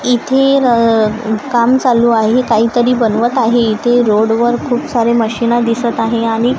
इथे काम चालू आहे काहीतरी बनवत आहे. इथे रोड वर खूप सारे मशीन दिसतं आहे आणि--